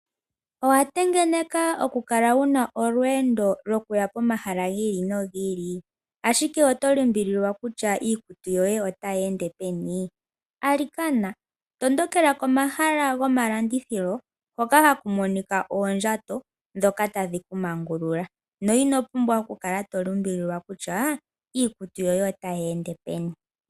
Owa tengeneka okukala wu na olweendo lwokuya pomahala gi ili nogi ili, ashike owa limbililwa kutya iikutu yoye otayi ende peni? Alikana, tondokela komahala gomalandithilo hoka haku monika oondjato ndhoka tadhi ku mangulula na ino pumbwa okukala to limbililwa kutya iikutu yoye otayi ende peni.